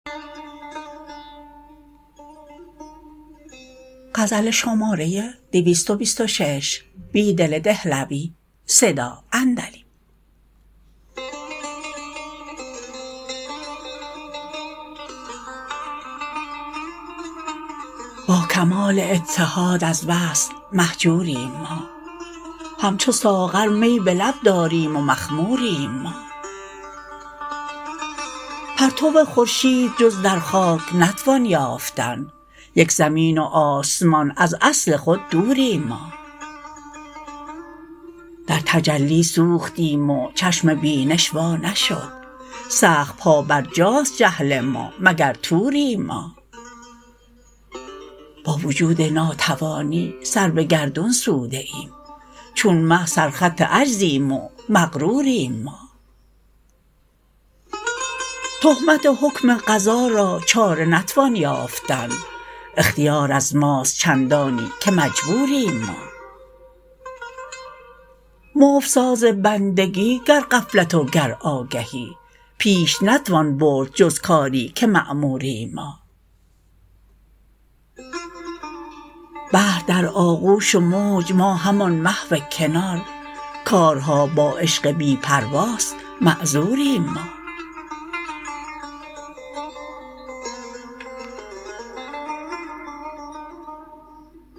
با کمال اتحاد از وصل مهجوریم ما همچو ساغر می به لب داریم و مخموریم ما پرتو خورشید جز در خاک نتوان یافتن یک زمین و آسمان از اصل خود دوریم ما د رتجلی سوختیم و چشم بینش وا نشد سخت پابرجاست جهل ما مگر طوریم ما با وجود ناتوانی سر به گردون سوده ایم چون مه سرخط عجزیم و مغروریم ما تهمت حکم قضا را چاره نتوان یافتن اختیار از ماست چندانی که مجبوریم ما مفت ساز بندگی گر غفلت و گر آگهی پیش نتوان برد جز کاری که مأموریم ما بحر در آغوش و موج ما همان محو کنار کارها با عشق بی پرواست معذوریم ما